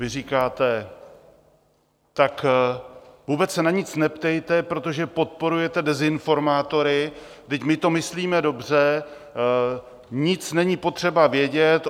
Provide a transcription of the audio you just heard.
Vy říkáte: Tak vůbec se na nic neptejte, protože podporujete dezinformátory, vždyť my to myslíme dobře, nic není potřeba vědět.